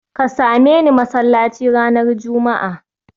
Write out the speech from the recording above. Ka same ni masallaci ranar Juma'a